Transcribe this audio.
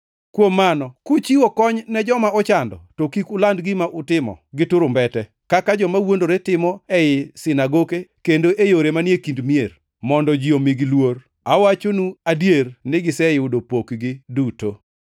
“Kuom mano kuchiwo kony ne joma ochando to kik uland gima utimo gi turumbete, kaka joma wuondore timo ei sinagoke kendo e yore manie kind mier, mondo ji omigi luor. Awachonu adier ni giseyudo pokgi duto.